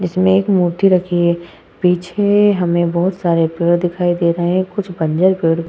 जिसमें एक मूर्ति रखी है। पीछे हमें बहोत सारे पेड़ दिखाई दे रहे हैं। कुछ बंजर पेड़ --